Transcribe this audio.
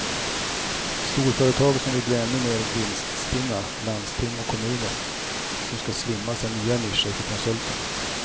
Storföretag som vill bli ännu mer vinststinna, landsting och kommuner som ska slimmas är nya nischer för konsulterna.